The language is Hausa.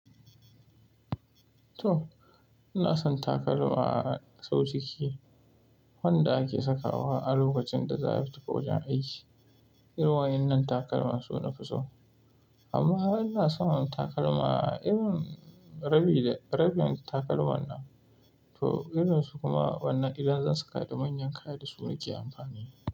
To! Ina son takalma sau ciki, wanda ake sakawa a lokacin da za a tafi wajen aiki. Irin wayan nan takalma suna fiso. Amma ina son takalma irin rabin takalman nan. To irin su kuma wanda idan za su kaɗa manyan kaya da su nake amfani.